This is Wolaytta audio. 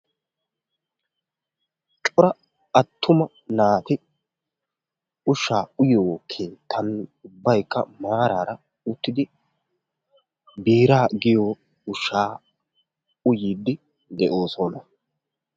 cora attuma naati ushshaa uyyiyoo keettan ubbaykka maarara uttidi biraa giyoo ushshaa uyyiidi de'oosona.